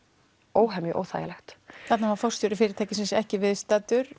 óhemju óþægilegt þarna var forstjóri fyrirtækisins ekki viðstaddur